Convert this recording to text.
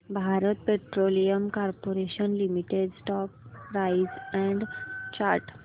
Bharat petroleum corporation limited stock price and chart